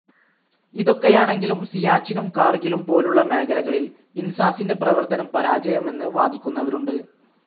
ഇതൊക്കെയാണെങ്കിലും സിയാച്ചിനും കാർഗിലും പോലുളള മേഖലകളിൽ ഇൻസാസിൻ്റെ പ്രവർത്തനം പരാജയമെന്ന് വാദിക്കുന്നവരുണ്ട്.